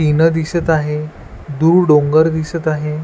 तीन दिसत आहे दूर डोंगर दिसत आहे.